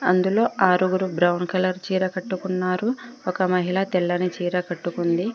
అందులో ఆరుగురు brown colour చీర కట్టుకున్నారు ఒక మహిళ తెల్లని చీర కట్టుకుంది.